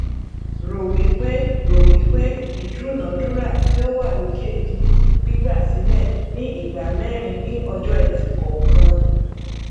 rò wípé rò wípé ìdúnadúrà tí ó wà lókè di gbígbà sílẹ ni ìgbà mẹrin ni ọjọẹtì kọọkan